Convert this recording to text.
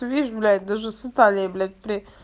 ты видишь блять даже с италии блять при